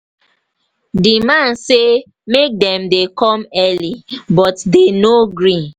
the man say make dem dey come early but dey no gree.